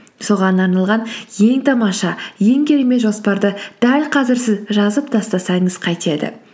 соған арналған ең тамаша ең керемет жоспарды дәл қазір сіз жазып тастасаңыз қайтеді